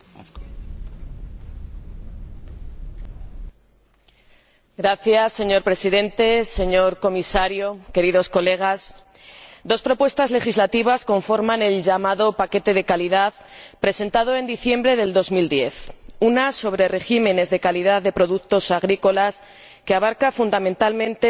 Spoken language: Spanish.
Señor Presidente, señor Comisario, queridos colegas, dos propuestas legislativas conforman el llamado paquete de calidad presentado en diciembre de 2010 una sobre regímenes de calidad de productos agrícolas que abarca fundamentalmente la normativa de las indicaciones geográficas y otros esquemas de carácter voluntario,